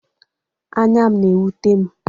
Anya m na-ewute m.